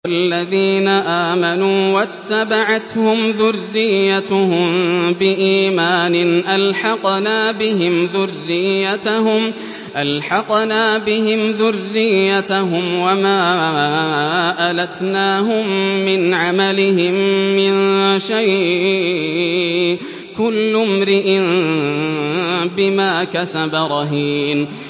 وَالَّذِينَ آمَنُوا وَاتَّبَعَتْهُمْ ذُرِّيَّتُهُم بِإِيمَانٍ أَلْحَقْنَا بِهِمْ ذُرِّيَّتَهُمْ وَمَا أَلَتْنَاهُم مِّنْ عَمَلِهِم مِّن شَيْءٍ ۚ كُلُّ امْرِئٍ بِمَا كَسَبَ رَهِينٌ